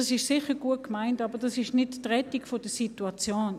Das ist sicher gut gemeint, aber das ist nicht die Rettung der Situation.